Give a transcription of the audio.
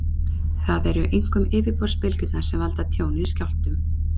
Það eru einkum yfirborðsbylgjurnar sem valda tjóni í jarðskjálftum.